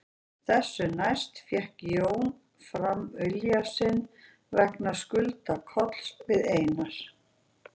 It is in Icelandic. Þessu næst fékk Jón fram vilja sinn vegna skulda Kolls við Einar